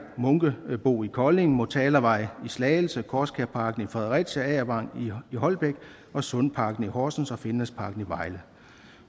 munkebo i kolding motalavej i slagelse korskærparken i fredericia agervang i holbæk sundparken i horsens og finlandsparken i vejle